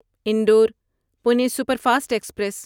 Indore Pune superfast express